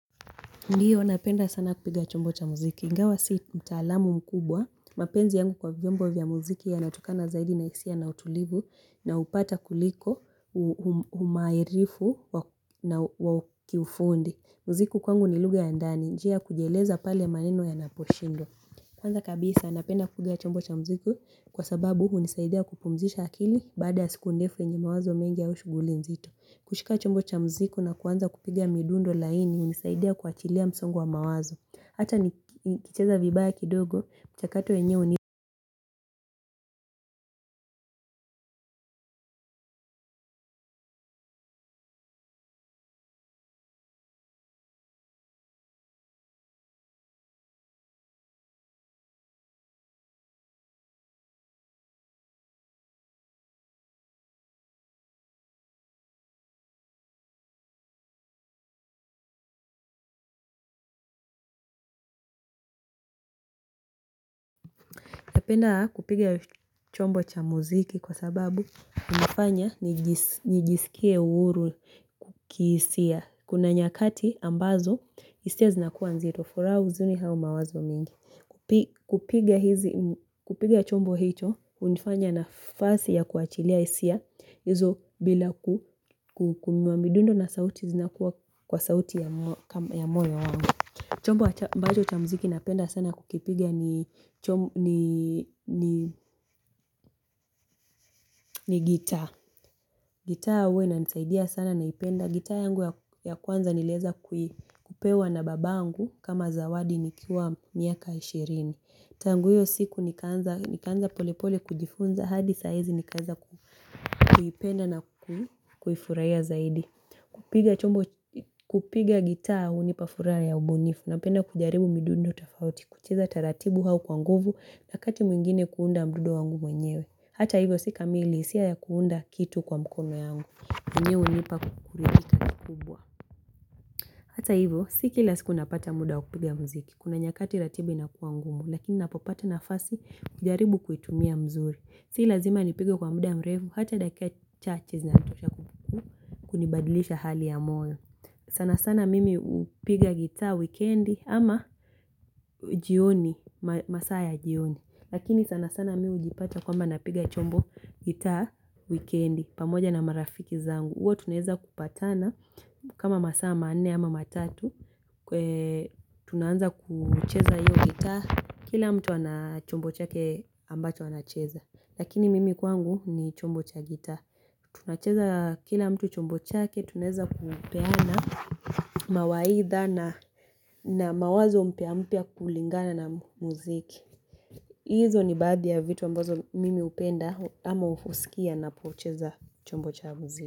Ndiyo, napenda sana kupiga chombo cha muziki. Ingawa sii mtaalamu mkubwa. Mapenzi yangu kwa vyombo vya muziki yanatokana zaidi na hisia na utulivu, naupata kuliko, humairifu na wa kiufundi. Muziki kwangu ni lugha ya ndani. Njia ya kujieleza pale maneno yanaposhindwa. Kwanza kabisa, napenda kupiga chombo cha muziki kwa sababu hunisaidia kupumzisha akili baada ya siku ndefu enye mawazo mengi au shughuli mzito. Kushika chombo cha muziki na kuanza kupiga midundo laini hunisaidia kuashilia msongo wa mawazo. Hata nikicheza vibaya kidogo, mchakato wenyewe hunipa. Napenda kupiga chombo cha muziki, kwa sababu hunifanya nijisikie uhuru kukihisia. Kuna nyakati ambazo, hisia zinakuwa nzito. Furaha uzuni au mawazo mingi, kupiga kupiga chombo hicho, hunifanya nafasi ya kuwaashilia hisia hizo bila kungoa midundo na sauti zinakuwa kwa sauti ya moyo wangu, chombo ambacho cha muziki napenda sana kukipiga ni ni giita, giita huwa inanisaidia sana naipenda, giita yangu ya kwanza nilieza kupewa na baba yangu kama zawadi, nikiwa miaka ishirini, tangu hiyo siku nikaanza polepole kujifunza hadi saaizi nikaeza kuipenda na kuifurahia zaidi, kupiga gitaa hunipa furaha ya ubunifu, napenda kujaribu midundo tofauti, kucheza taratibu au kwa nguvu, wakati mwingine kuunda mdundo wangu mwenyewe. Hata hivyo si kamili, sio ya kuunda kitu kwa mkono yangu, mwenye unipa kukurithika. Hata hivyo, si kila siku napata muda wakupiga muziki, kuna nyakati ratibu inakuwa ngumu, lakini napopata nafasi kujaribu kuitumia mzuri. Si lazima nipige kwa muda mrefu, hata dakika chache zinatosha kunibadilisha hali ya moyo. Sana sana mimi hupiga gitaa wikendi ama jioni masaa ya jioni, lakini sana sana mimi hujipata kwamba napiga chombo gitaa wikendi pamoja na marafiki zangu, huwa tunaeza kupatana kama masaa manne ama matatu. Kwe tunaanza kucheza hiyo gitaa, kila mtu ana chombo chake ambacho anacheza, lakini mimi kwangu ni chombo cha gitaa, tunacheza kila mtu chombo chake tunaeza kupeana mawaidha na mawazo mpya mpya kulingana na muziki, hizo ni baadhi ya vitu ambazo mimi upenda ama husikia napocheza chombo cha muziki.